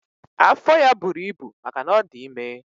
Afọ ya buru ibu maka na ọ dị ime.